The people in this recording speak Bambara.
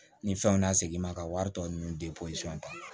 Ni fɛnw na segin ma ka wari tɔ ninnu ta